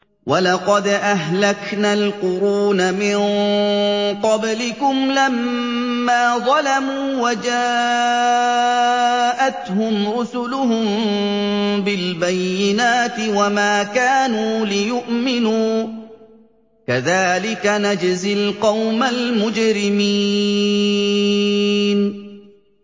وَلَقَدْ أَهْلَكْنَا الْقُرُونَ مِن قَبْلِكُمْ لَمَّا ظَلَمُوا ۙ وَجَاءَتْهُمْ رُسُلُهُم بِالْبَيِّنَاتِ وَمَا كَانُوا لِيُؤْمِنُوا ۚ كَذَٰلِكَ نَجْزِي الْقَوْمَ الْمُجْرِمِينَ